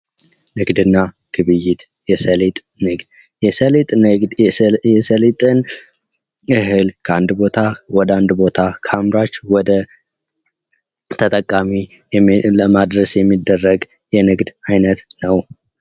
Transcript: ንግድና ግብይት የሰሊጥ ንግድ የሰሊጥ ንግድ የሰሊጥን እህል ከአንድ ቦታ ወደ አንድ ከአምራች ወደ ተጠቃሚ ለማድረስ የሚደረግ የንግድ ዓይነት ነው ።